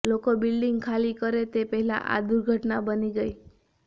લોકો બિલ્ડીંગ ખાલી કરે તે પહેલા આ દૂર્ઘટના બની ગઈ